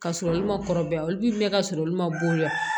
Ka sɔrɔ olu ma kɔrɔbaya olu bɛ mɛn ka sɔrɔ olu ma bonya